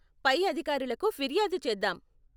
పై అధికారులకు ఫిర్యాదు చేద్దాం.